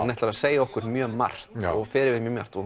ætlar að segja okkur mjög margt fer yfir mjög margt og